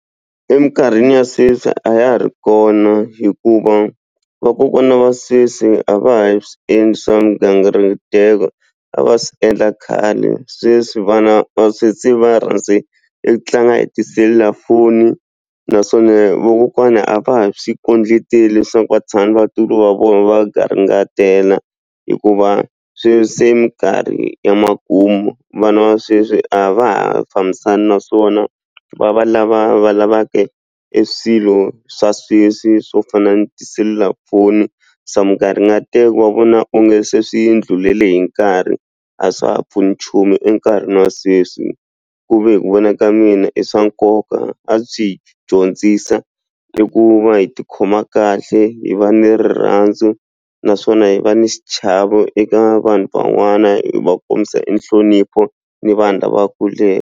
Eminkarhini ya sweswi a ya ha ri kona hikuva vakokwana va sweswi a va ha swi endli swa mugangariteko a va swi endla khale sweswi vana va sweswi va rhandze eku tlanga e tiselulafoni naswona vakokwana a va ha swi kondleteli leswaku vatshami vatukulu va vona va garingatela hikuva sweswi se minkarhi ya makumu vana va sweswi a va ha fambisani naswona va va lava va lava ke e swilo swa sweswi swo fana na tiselulafoni se mugangariteko va vona onge se swi ndlhulele hi nkarhi a swa pfuni nchumu enkarhini wa sweswi ku ve hi ku vona ka mina i swa koka a byi hi dyondzisa i ku va hi tikhoma kahle hi va ni rirhandzu naswona hi va ni xichavo eka vanhu van'wana hi va kombisa e nhlonipho ni vanhu lava kuleke.